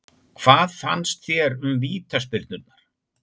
Hvað fannst þér um vítaspyrnurnar?